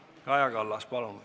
Kaja Kallas, palun!